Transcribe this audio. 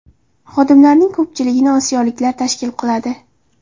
Xodimlarning ko‘pchiligini osiyoliklar tashkil qiladi.